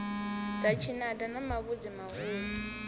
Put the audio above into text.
ḽa tshinada na mavhudzi mahulu